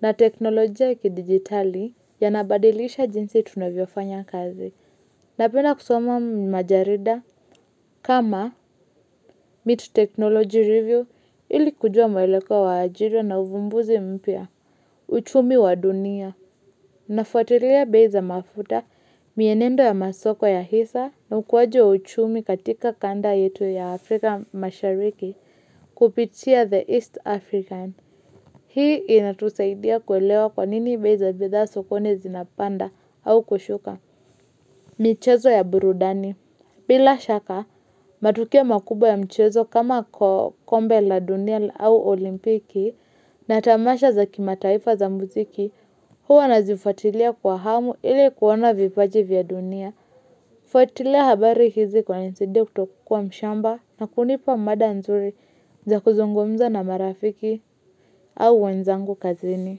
na teknolojia kidigitali yanabadilisha jinsi tunavyofanya kazi. Napenda kusoma majarida kama MIT Technology Review ili kujua mwelekeo wa ajira na uvumbuzi mpya, uchumi wa dunia. Nafuatilia bei za mafuta mienendo ya masoko ya hisa na ukuwaji uchumi katika kanda yetu ya Afrika mashariki kupitia the East African. Hii inatusaidia kuelewa kwa nini bei za bidhaa sokoni zinapanda au kushuka. Michezo ya burudani bila shaka matukio makubwa ya mchezo kama kombe la dunia au olimpiki na tamasha za kimataifa za muziki huwa nazifuatilia kwa hamu ili kuona vipaji vya dunia. Fuatilia habari hizi kunanisaidia kutokuwa mshamba na kunipa mada nzuri za kuzungumza na marafiki au wenzangu kazini.